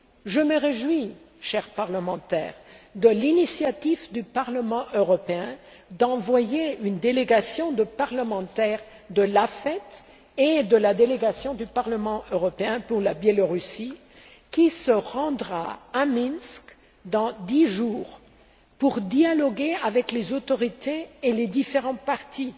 Je me réjouis, chers parlementaires, de l'initiative du Parlement européen d'envoyer une délégation de parlementaires de l'AFET et la délégation du Parlement européen pour les relations avec le Belarus qui se rendra à Minsk, dans dix jours, pour dialoguer avec les autorités et les différents partis